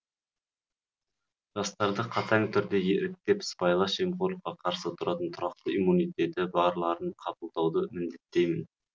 жастарды қатаң түрде еріктеп сыбайлас жемқорлыққа қарсы тұратын тұрақты иммунитеті барларын қабылдауды міндеттеймін